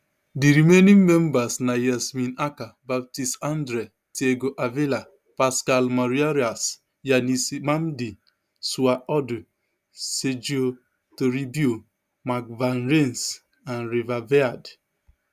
di remaining members na yasemin acar baptiste andre thiago avila pascal maurieras yanis mhamdi suayb ordu sergio toribio mark van rennes and reva viard